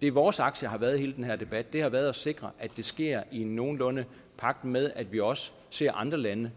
det vores aktie har været i hele den her debat har været at sikre at det sker nogenlunde i pagt med at vi også ser andre lande